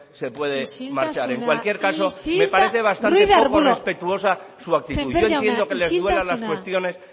se puede marchar isiltasuna isiltasuna en cualquier caso me parece bastante poco respetuosa ruiz de arbulo sémper jauna isiltasuna yo entiendo que les duelan las cuestiones